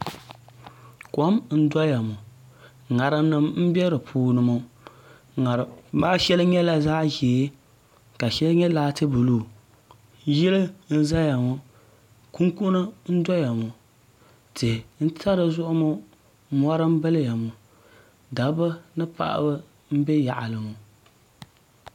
kom n doya ŋo ŋarim nim n bɛ di puuni ŋo ŋarima maa shɛli nyɛla zaɣ ʒiɛ ka shɛli nyɛ laati buluu yili n doya ŋo kunkuni n ʒɛya ŋo tihi n sa dizuɣu ŋo dabba ni paɣaba n bɛ yaɣali ŋo